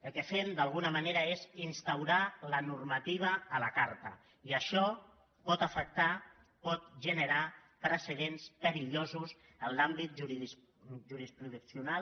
el que fem d’alguna manera és instaurar la normativa a la carta i això pot afectar pot generar precedents perillosos en l’àmbit jurisprudencial